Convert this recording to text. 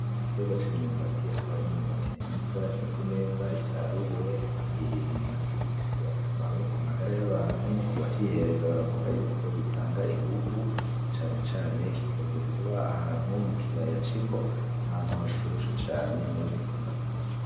Igiterwa cimyumbati akaba arimyumbati myiza imeze neza isaruwe kandi imyumbati ifise akamaro kumagara yabantu, kandi kubacihereza baravuga gitanga inguvu, na cane cane gikunze kuba ahantu mukiyaya c'imbo, ahantu hashushe cane niho gikunda kuba.